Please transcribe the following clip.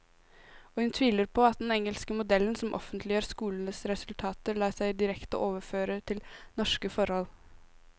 Og hun tviler på at den engelske modellen, som offentliggjør skolenes resultater, lar seg direkte overføre til norske forhold.